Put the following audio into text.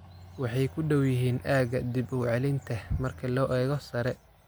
Waxay ku dhow yihiin aagga dib-u-celinta marka loo eego sare.